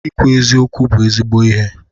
Ikwu eziokwu bụ ezigbo ihe.